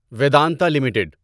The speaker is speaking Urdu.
ویدانتا لمیٹڈ